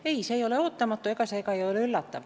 Ei, see ei ole ootamatu ega üllatav.